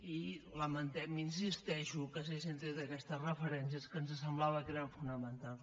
i lamentem hi insisteixo que s’hagin tret aquestes referències que ens semblava que eren fonamentals